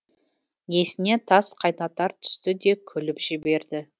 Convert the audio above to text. есіне тас қайнатар түсті де күліп жіберді